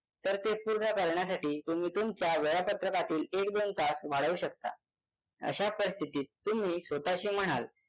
तर ते पूर्ण करण्यासाठी तुम्ही तुमच्या वेळापत्रकातील एक दोन तास वाढवू शकता अशा परिस्थितीत तुम्ही स्वतःशी म्हणाल